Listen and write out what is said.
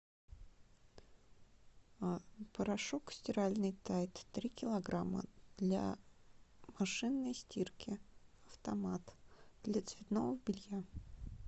порошок стиральный тайд три килограмма для машинной стирки автомат для цветного белья